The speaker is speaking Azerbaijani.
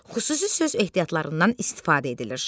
Xüsusi söz ehtiyatlarından istifadə edilir.